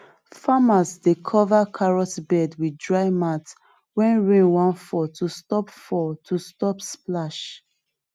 farmers dey cover carrot bed with dry mat when rain wan fall to stop fall to stop splash